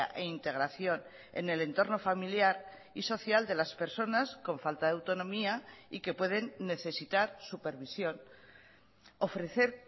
e integración en el entorno familiar y social de las personas con falta de autonomía y que pueden necesitar supervisión ofrecer